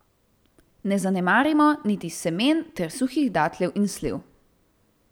Ne zanemarimo niti semen ter suhih datljev in sliv.